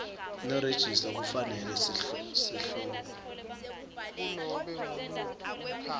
nerejista kufanele sihloko